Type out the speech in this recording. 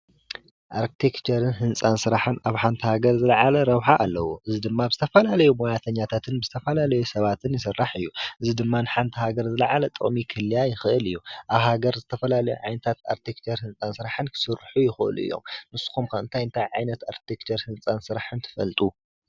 ኣርክቴክቸርን ህንጻ ስራሕን ኣብ ሓንቲ ሃገር ዝለዓለ ረብሓ ኣለዎ። እዚ ድማ ዝተፈላለዩ ሞያተኛታትን ብዝተፍፈላለዩ ሰባትን ይስራሕ እዩ። እዚ ድማ ንሓንቲ ሃገር ዝለዓለ ጥቅሚ ክህልያ ይክእል እዩ። ኣብ ሃገር ዝተፈላለዩ ዓይነት ኣርክቴክቸርን ህንጻ ስራሕን ክስርሑ ይክእሉ እዮም። ንስኩም ከ እንታይ እንታይ ዓይነት ኣርክቴክቸር ህንጻ ስራሕን ትፈልጡ?